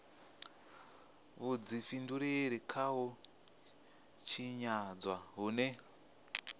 vhudifhinduleli kha u tshinyadzwa hune